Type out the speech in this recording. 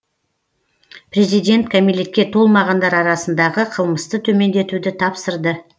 президент кәмелетке толмағандар арасындағы қылмысты төмендетуді тапсырды